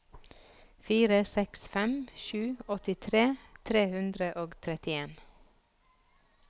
fire seks fem sju åttitre tre hundre og trettien